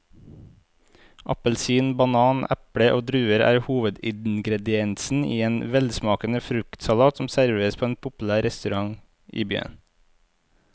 Appelsin, banan, eple og druer er hovedingredienser i en velsmakende fruktsalat som serveres på en populær restaurant i byen.